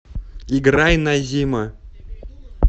играй назима